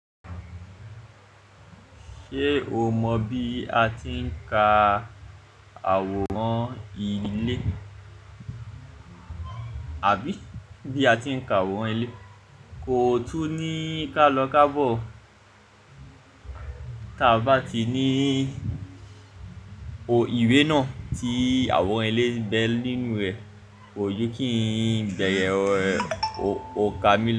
Ṣé o mọ bí a ti ń ka àwòrán ilé, àbí bí a ti ń ka àwòrán ilé? Kò tún ní ká lọ ká bọ̀, tí a bá ti ní ò ìwé náà tí àwòrán ilé ń bẹ nínú rẹ̀, kó ju kí ń bẹ̀rẹ̀ ọkà mi.